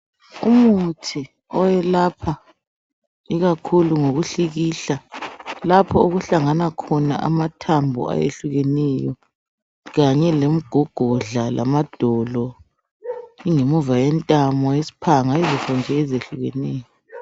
Umuthi oyelapha ikakhulu ngokuhlikihla lapho okuhlangana khona amathambo ayehlukeneyo kanye lemgogodla lamadolo ingemuva yentamo isphanga izinto nje ezihlukeneyo.